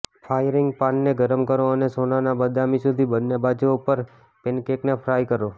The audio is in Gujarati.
ફ્રાયિંગ પાનને ગરમ કરો અને સોનાના બદામી સુધી બંને બાજુઓ પર પેનકેકને ફ્રાય કરો